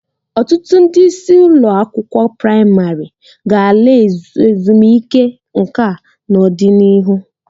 Ọtụtụ ndị isi ụlọ akwụkwọ praịmarị ga-ala ezumike nka n'ọdịnihu.